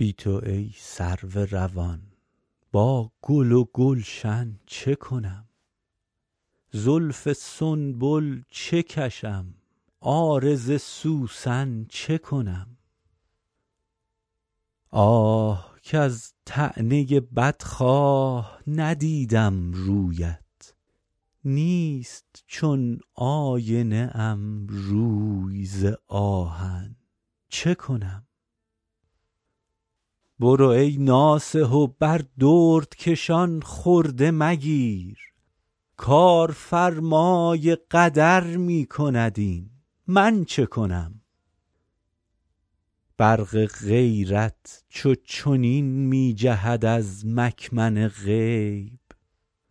بی تو ای سرو روان با گل و گلشن چه کنم زلف سنبل چه کشم عارض سوسن چه کنم آه کز طعنه بدخواه ندیدم رویت نیست چون آینه ام روی ز آهن چه کنم برو ای ناصح و بر دردکشان خرده مگیر کارفرمای قدر می کند این من چه کنم برق غیرت چو چنین می جهد از مکمن غیب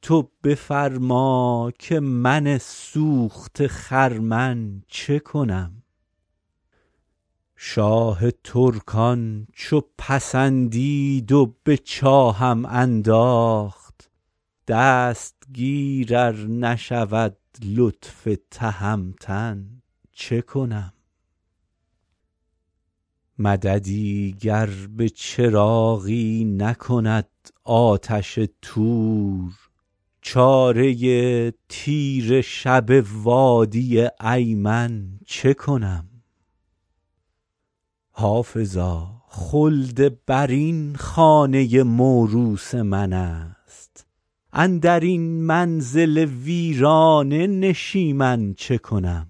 تو بفرما که من سوخته خرمن چه کنم شاه ترکان چو پسندید و به چاهم انداخت دستگیر ار نشود لطف تهمتن چه کنم مددی گر به چراغی نکند آتش طور چاره تیره شب وادی ایمن چه کنم حافظا خلدبرین خانه موروث من است اندر این منزل ویرانه نشیمن چه کنم